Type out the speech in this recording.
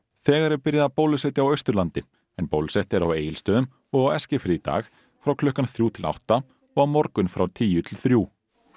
þegar er byrjað að bólusetja á Austurlandi en bólusett er á Egilsstöðum og á Eskifirði í dag frá klukkan þrjú til átta og á morgun frá tíu til þrjú